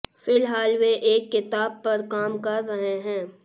फिलहाल वे एक किताब पर काम कर रहे हैं